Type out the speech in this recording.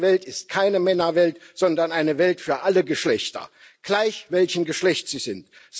Diese Welt ist keine Männerwelt, sondern eine Welt für alle Menschen, gleich welchen Geschlechts sie sind.